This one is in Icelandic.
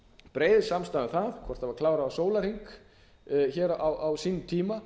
breið samstaða um það hvort það var klárað á sólarhring hér á sínum tíma